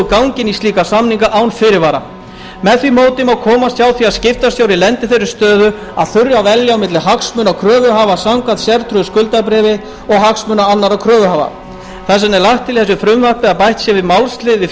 gangi inn í slíka samninga án fyrirvara með því móti má komast hjá því að skiptastjóri lendi í þeirri stöðu að þurfa að velja á milli hagsmuna kröfuhafa samkvæmt sértryggðu skuldabréfi og hagsmuna annarra kröfuhafa þess vegna er lagt til í þessu frumvarpi að bætt sé málslið við